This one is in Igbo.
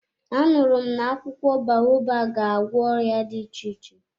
A nụrụ m na akwụkwọ baobabu ga-agwọ ọrịa dị iche iche.